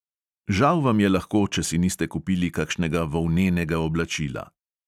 Žal vam je lahko, če si niste kupili kakšnega volnenega oblačila.